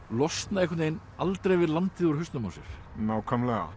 losna einhvern veginn aldrei við landið úr hausnum á sér nákvæmlega